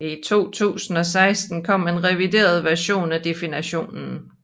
I 2016 kom en revideret version af definitionen